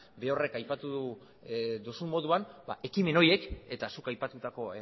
berorrek aipatu duzun moduan ba ekimen horiek eta zuk aipatutako